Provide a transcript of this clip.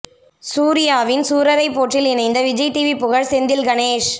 சூர்யாவின் சூரரை போற்றில் இணைந்த விஜய் டிவி புகழ் செந்தில் கணேஷ்